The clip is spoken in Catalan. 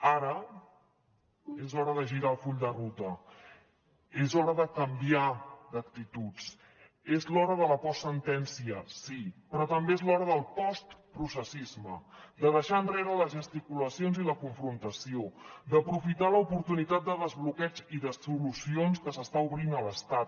ara és hora de girar el full de ruta és hora de canviar d’actituds és l’hora de la postsentència sí però també és l’hora del postprocessisme de deixar enrere les gesticulacions i la confrontació d’aprofitar l’oportunitat de desbloqueig i de solucions que s’està obrint a l’estat